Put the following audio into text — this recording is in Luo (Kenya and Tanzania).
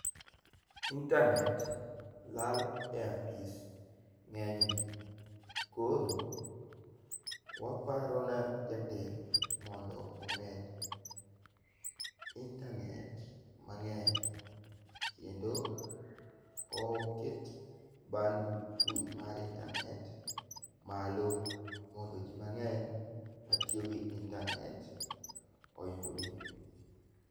Intanet lal e apis ng'enyne .Koro waparo ne jatelo mondo omed intanet mang'eny, kendo oket bandwidth mar intanet malo, mondo ji mang'eny matiyo gi intanet oyudi.